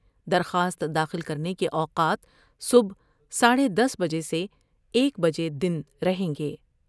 درخواست داخل کرنے کے اوقات صبح ساڈھے دس بجے سے ایک بجے دن رہیں گے ۔